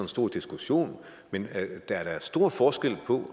stor diskussion men der er da stor forskel på